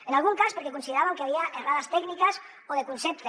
en algun cas perquè consideràvem que hi havia errades tècniques o de concepte